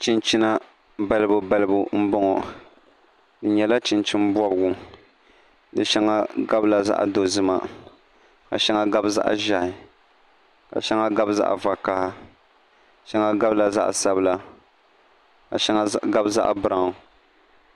Chinchina balibu balibu m-bɔŋɔ di nyɛla chinchin' bɔbigu di shɛŋa gabila zaɣ' dozima ka shɛŋa gabi zaɣ' ʒɛhi ka shɛŋa gabi zaɣ' vakaha shɛŋa gabila zaɣ' sabila ka shɛŋa gabi zaɣ' biraun